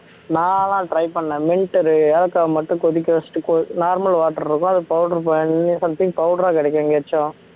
நான்லாம் try பண்ணேன் mint ஏலக்காய் மட்டும் கொதிக்க வெச்சுட்டு கொ normal water இருக்கும் அதை powder பண் something powder ஆ கிடைக்கும் எங்கேயாச்சும்